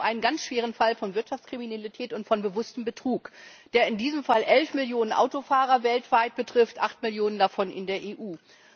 Es geht um einen ganz schweren Fall von Wirtschaftskriminalität und von bewusstem Betrug, der in diesem Fall elf Millionen Autofahrer weltweit betrifft, acht Millionen davon in der EU.